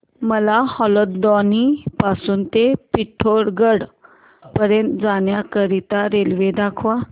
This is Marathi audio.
मला हलद्वानी पासून ते पिठोरागढ पर्यंत जाण्या करीता रेल्वे दाखवा